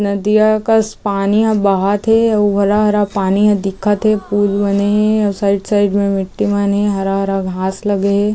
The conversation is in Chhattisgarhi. नदिया कस पानी ह बहत हे अउ हरा-हरा पानी हे दिखत हे पूल मने हे साइड साइड में मिट्टी मन हे हरा-हरा घास लगे हे।